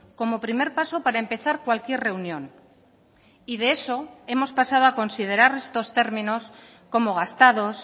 como primer paso para empezar cualquier reunión y de eso hemos pasado a considerar estos términos como gastados